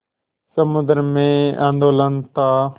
समुद्र में आंदोलन था